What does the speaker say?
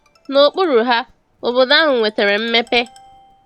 N'okpuru ha, obodo ahụ nwetara mmepe.